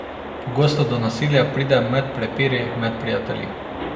Pogosto do nasilja pride med prepiri med prijatelji.